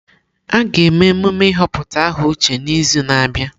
A ga-eme emume ịhọpụta aha Uche n'izu na-abịa.